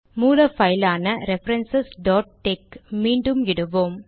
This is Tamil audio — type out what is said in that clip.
மூல பைலான ரெஃபரன்ஸ் tex மீண்டும் இடுவோம்